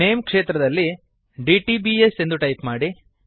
name ಕ್ಷೇತ್ರದಲ್ಲಿdtbs ಎಂದು type ಮಾಡಿ